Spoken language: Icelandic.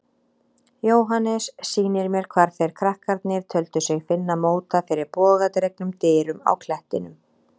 Jóhannes sýnir mér hvar þeir krakkarnir töldu sig finna móta fyrir bogadregnum dyrum á klettinum.